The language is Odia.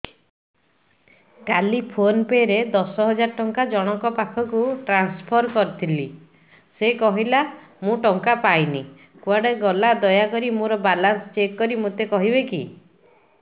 କାଲି ଫୋନ୍ ପେ ରେ ଦଶ ହଜାର ଟଙ୍କା ଜଣକ ପାଖକୁ ଟ୍ରାନ୍ସଫର୍ କରିଥିଲି ସେ କହିଲା ମୁଁ ଟଙ୍କା ପାଇନି କୁଆଡେ ଗଲା ଦୟାକରି ମୋର ବାଲାନ୍ସ ଚେକ୍ କରି ମୋତେ କହିବେ କି